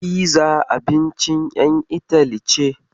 Fiza abincin ƴan Itali ce.